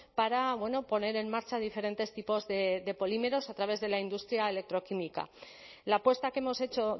para poner en marcha diferentes tipos de polímeros a través de la industria electroquímica la apuesta que hemos hecho